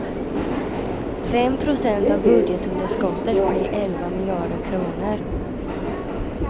Fem procent av budgetunderskottet blir elva miljarder kronor.